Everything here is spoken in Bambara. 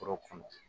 Foro kɔnɔ